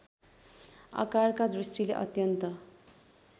आकारका दृष्टिले अत्यन्त